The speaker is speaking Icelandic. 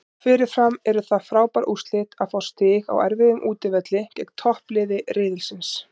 Fyrirfram eru það frábær úrslit að fá stig á erfiðum útivelli gegn toppliði riðilsins.